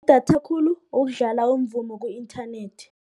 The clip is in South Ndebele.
Idatha khulu ukudlala umvumo ku-internet.